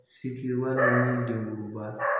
Siki wa ni dekuba